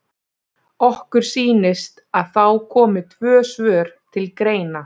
Okkur sýnist að þá komi tvö svör til greina.